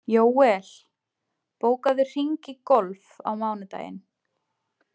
Jóel, bókaðu hring í golf á miðvikudaginn.